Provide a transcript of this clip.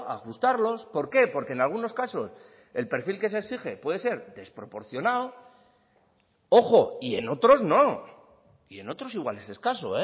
ajustarlos por qué porque en algunos casos el perfil que se exige puede ser desproporcionado ojo y en otros no y en otros igual es escaso